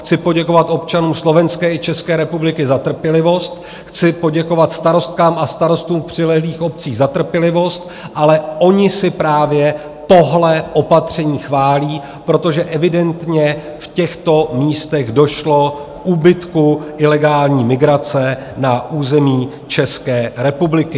Chci poděkovat občanům Slovenské i České republiky za trpělivost, chci poděkovat starostkám a starostům přilehlých obcí za trpělivost, ale oni si právě tohle opatření chválí, protože evidentně v těchto místech došlo k úbytku ilegální migrace na území České republiky.